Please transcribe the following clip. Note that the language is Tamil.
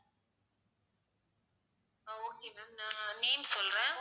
ஆஹ் okay ma'am நான் name சொல்றேன்.